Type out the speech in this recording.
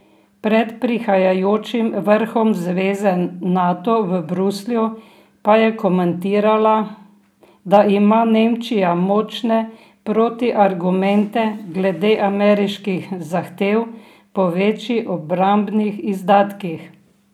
Pred prihajajočim vrhom zveze Nato v Bruslju pa je komentirala, da ima Nemčija močne protiargumente glede ameriških zahtev po večjih obrambnih izdatkih.